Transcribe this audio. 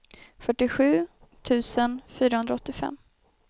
fyrtiosju tusen fyrahundraåttiofem